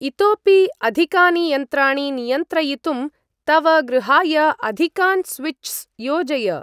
इतोऽपि अधिकानि यन्त्राणि नियन्त्रयितुं तव गृहाय अधिकान् स्विच्स् योजय।